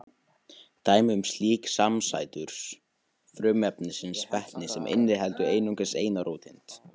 Dæmi um slíkt eru samsætur frumefnisins vetnis sem inniheldur einungis eina róteind.